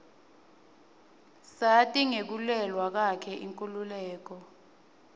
sati ngekulwela kwakhe inkhululeko